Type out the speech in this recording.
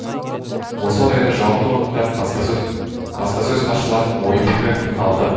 осы орайда жауапты органдардың баспасөз хатшыларының ой пікірі тыңдалды